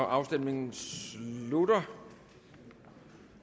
afstemningen slutter